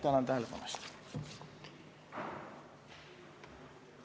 Tänan tähelepanu eest!